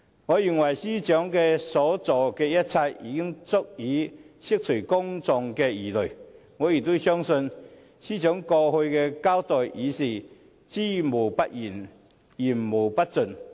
我認為司長所做的一切，已經足以釋除公眾的疑慮；我亦相信，司長過去的交代已是"知無不言，言無不盡"。